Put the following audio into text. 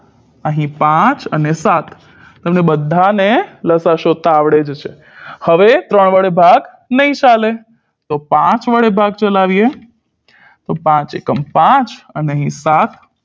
અહીં પાંચ અને સાત તમને બધાને લસાઅ શોધતા આવડે જ છે હવે ત્રણ વડે ભાગ નહી ચાલે તો પાંચ વડે ભાગ ચલાવીએ પાંચ એકમ પાંચ અને